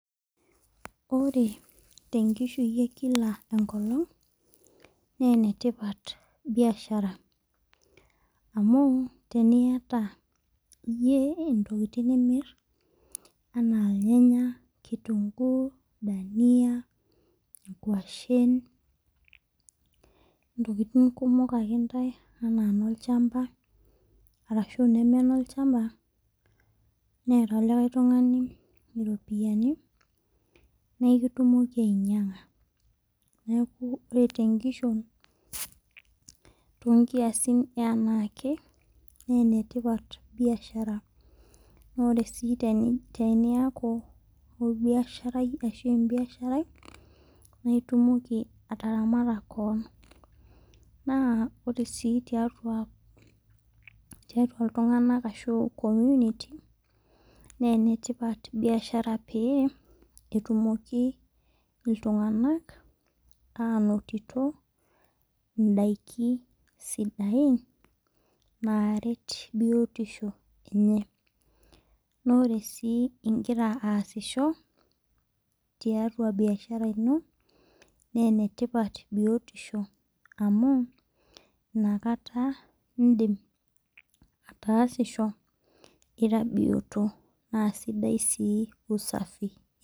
Ore te nkishui ee kila enkolong naa enetipat biashara anu teniyata iyie intokitin nimir enaa. Irnyanya , kitunkuu dania nkuashen ntokitin kumok ake ntae anaa inolchamba arashu ineme nolchamba neeta likae tungani iropiani na ikitumoki ainyang'a . Neeku ore te nkishon too nkiasin ee anake naa tipat biashara. Naa ore sii teniyaku orbiasharaj ashu ebiasharai naa itumoki ataramata keon . Naa ore sii tiatua iltung'ana ashu community naa ene tipat biashara peyie etumoki iltung'ana anotito idaikin sidain naret biotisho enye. Naa ore sii igira aasisho tiatua biashara ino naa ene tipat biotisho amu ina kata idim atasisho ira bioto naa sidai sii usafi.